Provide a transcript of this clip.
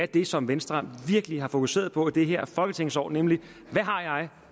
det som venstre virkelig har fokuseret på i det her folketingsår nemlig hvad har jeg